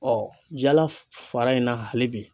jala fara in na hali bi.